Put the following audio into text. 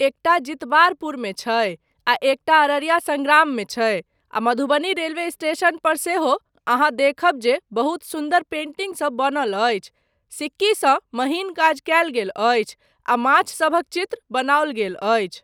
एकटा जितबारपुरमे छै आ एकटा अररिया सङ्ग्राममे छै आ मधुबनी रेलवे स्टेशन पर सेहो अहाँ देखब जे बहुत सुन्दर पेंटिंगसब बनल अछि, सिक्कीसँ महीन काज कयल गेल अछि आ माछ सभक चित्र बनाओल गेल अछि।